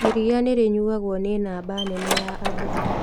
Iriia nĩrĩnyuagwo nĩ namba nene ya andũ